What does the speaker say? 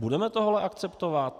Budeme tohle akceptovat?